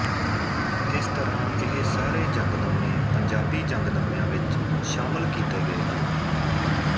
ਇਸ ਤਰ੍ਹਾਂ ਇਹ ਸਾਰੇ ਜੰਗਨਾਮੇ ਪੰਜਾਬੀ ਜੰਗਨਾਮਿਆਂ ਵਿੱਚ ਸ਼ਾਮਿਲ ਕੀਤੇ ਗਏ ਹਨ